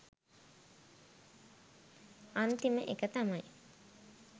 අන්තිම එක තමයි